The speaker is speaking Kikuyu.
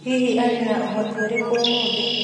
Hihi arĩ na ũhoti ũrĩkũ ũmũthĩ?